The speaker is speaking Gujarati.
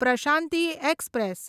પ્રશાંતિ એક્સપ્રેસ